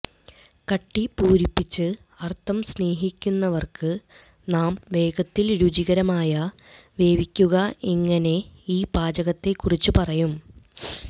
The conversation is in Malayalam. കട്ടി പൂരിപ്പിച്ച് അർത്ഥം സ്നേഹിക്കുന്നവർക്ക് നാം വേഗത്തിൽ രുചികരമായ വേവിക്കുക എങ്ങനെ ഈ പാചകക്കുറിപ്പ് പറയും